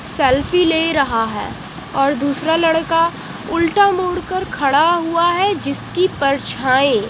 selfie ले रहा है और दूसरा लड़का उल्टा मुड़कर खड़ा हुआ है जिसकी परछाएं --